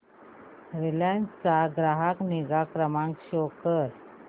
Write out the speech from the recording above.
Reliance चा ग्राहक निगा क्रमांक शो कर